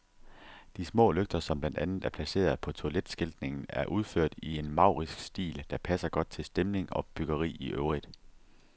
De små lygter, som blandt andet er placeret på toiletskiltningen, er udført i en maurisk stil, der passer godt til stemning og byggeri i øvrigt.